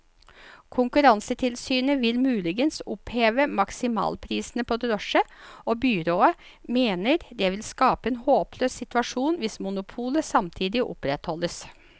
Konkurransetilsynet vil muligens oppheve maksimalprisene på drosje, og byrådet mener det vil skape en håpløs situasjon hvis monopolet samtidig opprettholdes.